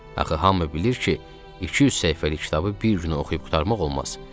Axı hamı bilir ki, 200 səhifəlik kitabı bir günə oxuyub qurtarmaq olmaz.